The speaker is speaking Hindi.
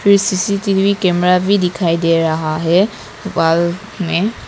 एक सी_सी_टी_वी कैमरा भी दिखाई दे रहा है वॉल में।